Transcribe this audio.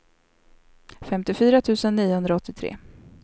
femtiofyra tusen niohundraåttiotre